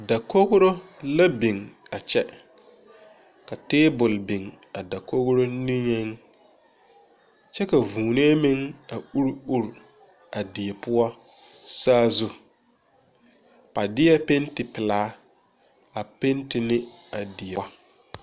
Dakogri la biŋ a kyɛ, ka table biŋ a dakogri niŋe, kyɛ ka vūūnee meŋ a uure uure a die poɔ sazu ,ba deɛ penty pelaa a penty ne a die.